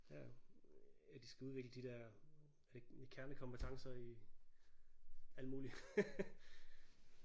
Ja at de skal udvikle de der er det ikke kernekompetencer i alt muligt